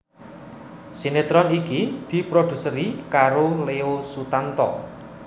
Sinetron iki diproduseri karo Leo Sutanto